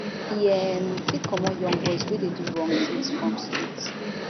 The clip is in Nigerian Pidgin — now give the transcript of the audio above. e um fit commot young boys wey dey do wrong tins from street